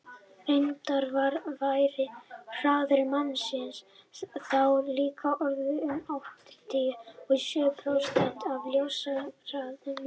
reyndar væri hraði mannsins þá líka orðinn um áttatíu og sjö prósent af ljóshraðanum